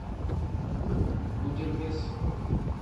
гудермес